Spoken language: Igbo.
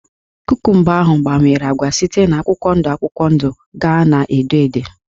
Kukumba ahụ gbanwere ágbá site na akwụkwọ ndụ akwụkwọ ndụ gaa na edo edo